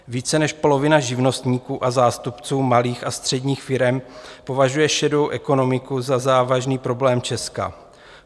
Více než polovina živnostníků a zástupců malých a středních firem považuje šedou ekonomiku za závažný problém Česka.